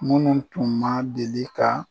Munnu tun ma deli ka